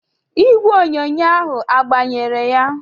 Igwe onyonyo ahu agbanyere ya?